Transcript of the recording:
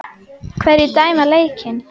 Hverjir dæma leikina?